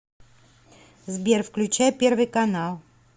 сбер включай первый канал